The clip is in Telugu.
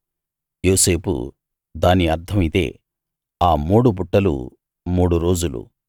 యోసేపు దాని అర్థం ఇదే ఆ మూడు బుట్టలు మూడు రోజులు